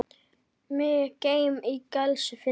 Mig geym í gæslu þinni.